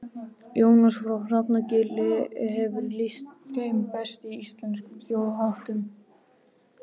Jónas frá Hrafnagili hefur lýst þeim best í Íslenskum þjóðháttum.